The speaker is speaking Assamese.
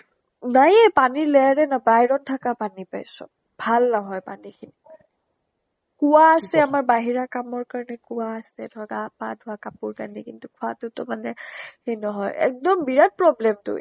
বাএ পানীৰ layer এ নাই, বাহিৰত থাকা পানী পায় চব। ভাল নহয় পানী খিনি মানে। কুঁৱা আছে । আমাৰ বাহিৰা কামৰ কাৰণে কুঁৱা আছে। ধৰ গা পা ধোৱা, কাপোৰ কানি কিন্তু খোৱাতো টো মানে সেই নহয়। এক্দম বিৰাত problem টো।